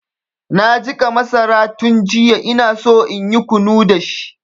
Na jiƙa masara tun jiya inaso inyi kunu dashi.